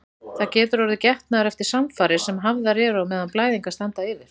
Það getur orðið getnaður eftir samfarir sem hafðar eru á meðan blæðingar standa yfir.